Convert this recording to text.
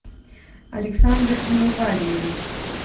александр миневалиевич